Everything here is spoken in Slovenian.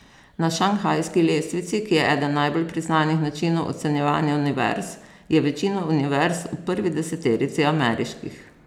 Na šanghajski lestvici, ki je eden najbolj priznanih načinov ocenjevanja univerz, je večina univerz v prvi deseterici ameriških.